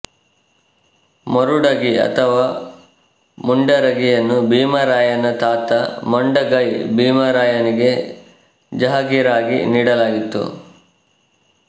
ಮುರುಡಗಿ ಅಥವಾ ಮುಂಡರಗಿಯನ್ನು ಭೀಮರಾಯನ ತಾತ ಮೊಂಡಗೈ ಭೀಮರಾಯನಿಗೆ ಜಹಗೀರಾಗಿ ನೀಡಲಾಗಿತ್ತು